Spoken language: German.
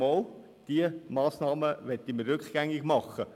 Doch, diese Massnahmen möchten wir rückgängig machen.